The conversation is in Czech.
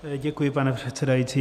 Děkuji, pane předsedající.